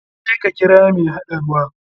Je ka kira mai haɗa ruwa.